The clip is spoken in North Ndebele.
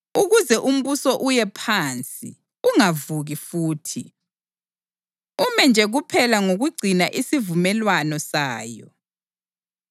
ukuze umbuso uye phansi, ungavuki futhi, ume nje kuphela ngokugcina isivumelwano sayo.